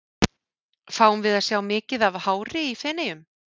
Fáum við að sjá mikið af hári í Feneyjum?